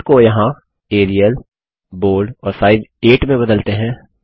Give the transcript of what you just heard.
font को यहाँ Arial bold और साइज 8 में बदलते हैं